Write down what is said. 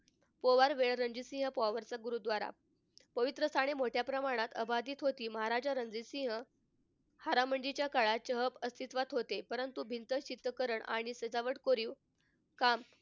कुंवर रणजीत सिंह चा गुरुद्वारा. पवित्र आणि मोठ्या प्रमाणात अबाधित होती आणि रणजीत सिंह हारमंदिच्या काळात अस्तित्वात होते. परंतु भित्त चित्रकरण आणि सजावट कोरीव काम,